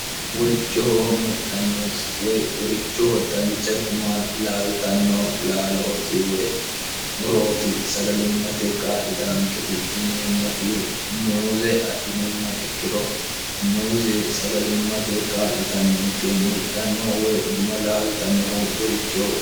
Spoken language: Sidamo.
worichoho mudhanno woy worichoho dancha guma laaltanno laalooti woy murooti sagalimmatekka litaanketi yineemmoti muuze adhinumma ikkiro muuze sagalimmatekka litannonke mudhannoo woy guma laaltannoho worichoho